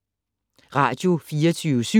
Radio24syv